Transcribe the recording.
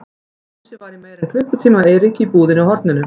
Jónsi var í meira en klukkutíma hjá Eiríki í búðinni á horninu.